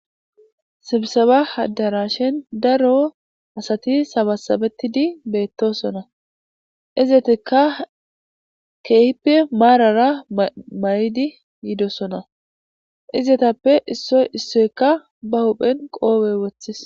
Sibisebba addarashen daro asati sabasabettiddi bettossonna izettika keehippe marara bahidi yidossonna izetappekka issoy issoy ba huphphen qoope wooththis.